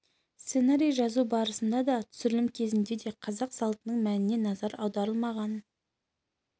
сценарий жазу барысында да түсірілім кезінде де қазақ салтының мәніне назар аударылмаған